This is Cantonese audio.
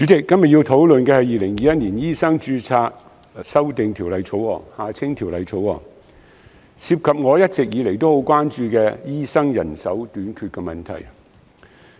主席，今天要討論的是《2021年醫生註冊條例草案》，涉及我一直以來很關注的醫生人手短缺問題。